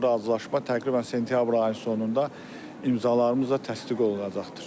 Bu razılaşma təqribən sentyabr ayının sonunda imzalarımızla təsdiq olunacaqdır.